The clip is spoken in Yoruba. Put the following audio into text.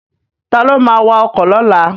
Ta ló ma wa ọkọ̀ lọ́la?